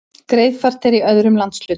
Greiðfært er í öðrum landshlutum